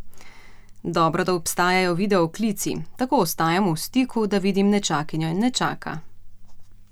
Dobro, da obstajajo videoklici, tako ostajamo v stiku, da vidim nečakinjo in nečaka.